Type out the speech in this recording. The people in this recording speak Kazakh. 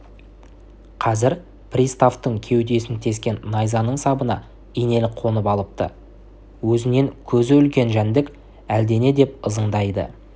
қазір приставтың кеудесін тескен найзаның сабына инелік қонып алыпты өзінен көзі үлкен жәндік әлдене деп ызыңдайды